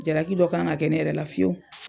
Jaraki dɔ kan ŋa kɛ ne yɛrɛ la fiyewu.